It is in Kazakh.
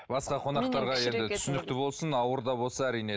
басқа қонақтарға енді түсінікті болсын ауыр да болса әрине